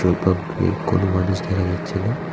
এ কোনো মানুষ দেখা যাচ্ছে না।